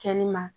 Kɛnɛma